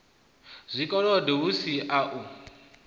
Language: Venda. zwikolodo hu si u a